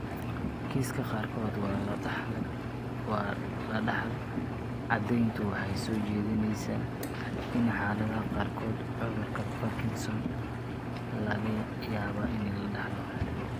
Kiisaska Qaarkood Waa La Dhaxal Caddayntu waxay soo jeedinaysaa, in xaaladaha qaarkood, cudurka Parkinsons laga yaabo in la dhaxlo.